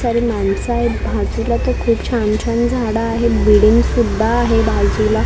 सारी माणसं आहेत बाजूला तर खूप छान छान झाडं आहेत बिल्डिंग सुद्धा आहे बाजूला --